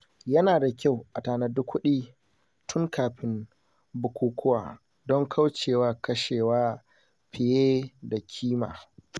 Yana da kyau a tanadi kuɗi tun kafin bukukuwa don kauce wa kashewa fiye da kima.